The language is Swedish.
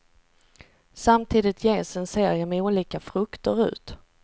Samtidigt ges en serie med olika frukter ut.